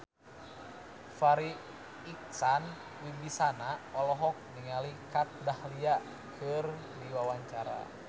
Farri Icksan Wibisana olohok ningali Kat Dahlia keur diwawancara